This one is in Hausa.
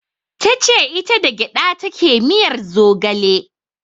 Tace ita da gyaɗa take miyar zogale